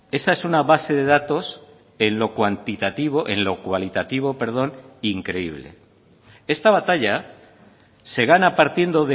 esa es una base de datos en lo cuantitativo en lo cualitativo perdón increíble esta batalla se gana partiendo